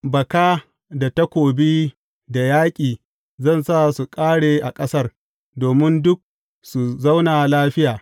Baka da takobi da yaƙi zan sa su ƙare a ƙasar, domin duk su zauna lafiya.